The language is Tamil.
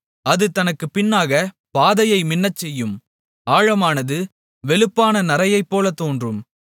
அது தனக்குப் பின்னாகப் பாதையை மின்னச்செய்யும் ஆழமானது வெளுப்பான நரையைப்போல் தோன்றும்